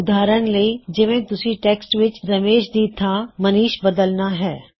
ਉਦਾਹਰਣ ਲਈ ਜਿਵੇ ਤੁਸੀ ਟੈਕ੍ਸਟ ਵਿੱਚ ਰਮੇਸ਼ ਦੀ ਥਾਂ ਮਨੀਸ਼ ਬਦਲਣਾ ਹੈ